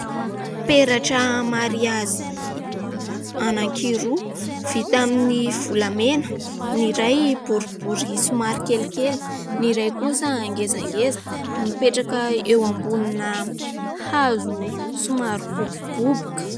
Peratra mariazy anankiroa; vita amin'ny volamena, ny iray boribory somary kelikely, ny iray kosa ngezangeza; mipetraka eo ambonina hazo somary boboboboka.